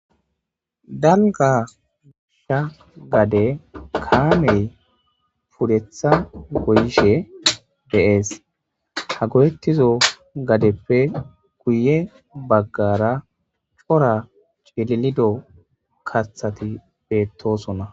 Dalga gasha gade kaamey pudetha goyishe deees ha godettizo gadeppe guye baggara cora cililido kathati beettosonna